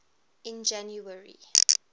in january